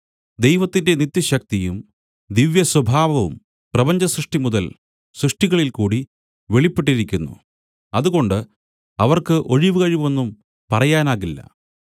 ദൈവത്തിന്റെ നിത്യശക്തിയും ദിവ്യസ്വഭാവവും പ്രപഞ്ചസൃഷ്ടിമുതൽ സൃഷ്ടികളിൽക്കൂടി വെളിപ്പെട്ടിരിക്കുന്നു അതുകൊണ്ട് അവർക്ക് ഒഴിവുകഴിവൊന്നും പറയാനാകില്ല